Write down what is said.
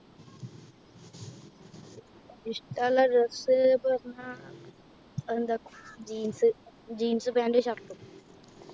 ഇഷ്ട്ടള്ളേ Dress പറഞ്ഞാ എന്താ Jeans jeans pant shirt ഉം